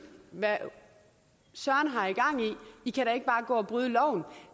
hvad søren har i gang i i kan da ikke bare gå og bryde loven